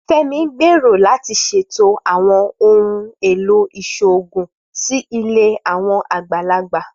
Femi ń gbèrò láti ṣètọrẹ àwọn ohùn èlò ìṣòògùn sí ilé àwọn àgbàlagbà